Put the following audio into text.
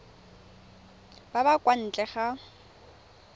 ba ba kwa ntle ga